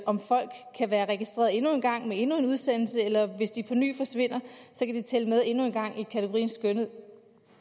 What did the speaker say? om folk kan være registreret endnu en gang med endnu en udsendelse eller hvis de på ny forsvinder kan tælle med endnu en gang i kategorien skønnet